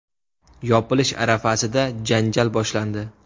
Yopilish arafasida janjal boshlandi.